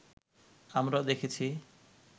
আমরা দেখেছি